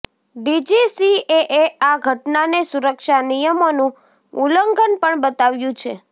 ડીજીસીએએ આ ઘટનાને સુરક્ષા નિયમોનું ઉલ્લંઘન પણ બતાવ્યું છે